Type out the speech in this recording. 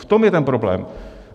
V tom je ten problém.